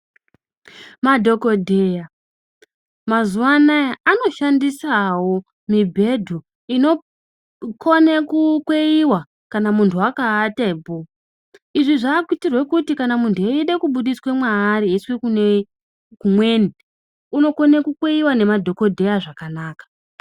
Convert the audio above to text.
Madhokodheya mazuwa anaya anoshandisawo mibhedhu inokone kukweiwa kana muntu akaatapo. Izvi zvakuitirwe kuti kana muntu eide kubudiswe mwaari eiiswe kumweni unokone kukweiwa nemadhokodheya zvakanaka.